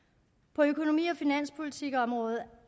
på økonomi og finanspolitikområdet